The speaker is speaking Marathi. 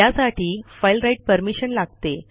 त्यासाठी फाइल राइट परमिशन लागते